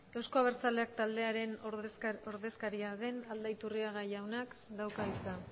euzko abertzaleak taldearen ordezkaria den aldaiturriaga jaunak dauka hitza